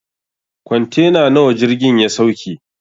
Kwantena nawa jirgin ya sauke?